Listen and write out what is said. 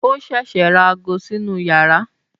Ó ṣẹ̀ṣẹ̀ ra ago sínú yàrá